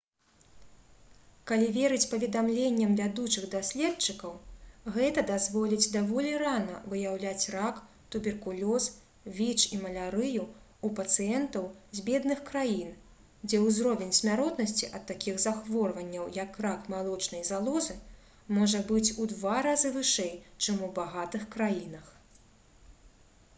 калі верыць паведамленням вядучых даследчыкаў гэта дазволіць даволі рана выяўляць рак туберкулёз віч і малярыю ў пацыентаў з бедных краін дзе ўзровень смяротнасці ад такіх захворванняў як рак малочнай залозы можа быць у два разы вышэй чым у багатых краінах